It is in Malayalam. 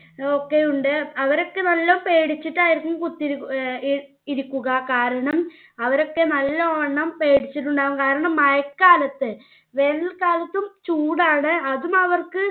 ഒക്കെ ഉണ്ട് അവരൊക്കെ നല്ല പേടിച്ചിറ്റായിരിക്കും കുത്തിയിരിക്ക് ഏർ ഇരിക്കുക കാരണം അവരൊക്കെ നല്ല വണ്ണം പേടിച്ചിട്ടുണ്ടാകും കാരണം മഴക്കാലത്ത് വേനൽ കാലത്തും ചൂടാണ് അതും അവർക്ക്